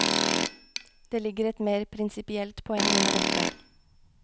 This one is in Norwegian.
Det ligger et mer prinsipielt poeng under dette.